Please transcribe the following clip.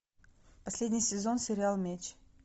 последний сезон сериал меч